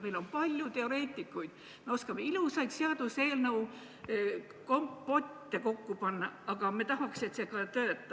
Meil on palju teoreetikuid ja me oskame ilusaid seaduseelnõukompotte kokku panna, aga me tahaks, et need ka töötaksid.